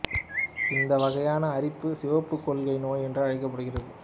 இந்த வகையான அரிப்பு சிவப்பு கொள்ளை நோய் என்று அழைக்கப்படுகிறது